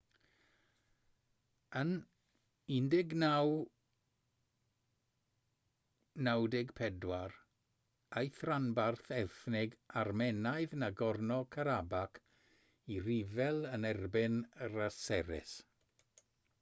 yn 1994 aeth rhanbarth ethnig armenaidd nagorno-karabakh i ryfel yn erbyn yr aseris